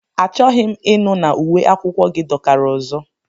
Achọghị m ịnụ na uwe akwụkwọ gị dọkara ọzọ!